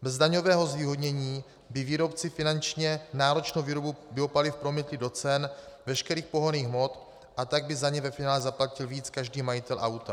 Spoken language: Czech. Bez daňového zvýhodnění by výrobci finančně náročnou výrobu biopaliv promítli do cen veškerých pohonných hmot, a tak by za ně ve finále zaplatil víc každý majitel auta.